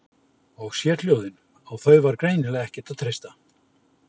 Og sérhljóðin, á þau var greinilega ekkert að treysta.